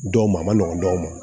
Dɔw ma a ma nɔgɔn dɔw ma